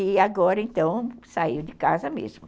E agora, então, saiu de casa mesmo.